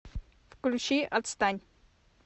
включи отстань